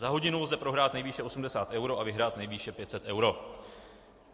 Za hodinu lze prohrát nejvýše 80 eur a vyhrát nejvýše 500 eur.